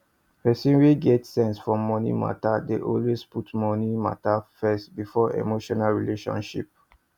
person wey get sense for money matter dey always put money matter first before emotional relationship